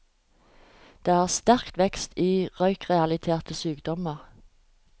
Det er sterk vekst i røykerelaterte sykdommer.